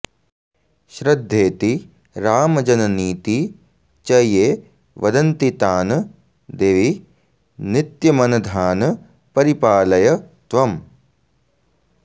श्रद्धेति रामजननीति च ये वदन्ति तान् देवि नित्यमनधान् परिपालय त्वम्